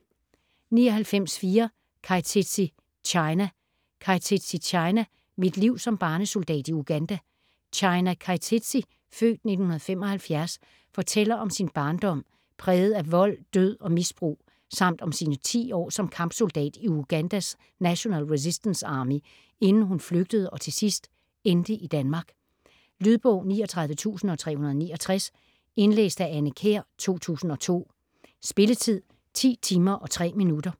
99.4 Keitetsi, China Keitetsi, China: Mit liv som barnesoldat i Uganda China Keitetsi (f. 1975) fortæller om sin barndom præget af vold, død og misbrug samt om sine 10 år som kampsoldat i Ugandas National Resistance Army inden hun flygtede og til sidst endte i Danmark. Lydbog 39369 Indlæst af Anne Kjær, 2002. Spilletid: 10 timer, 3 minutter.